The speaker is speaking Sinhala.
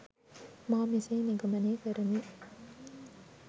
මා මෙසේ නිගමනය කරමි